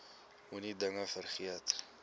moenie dinge vergeet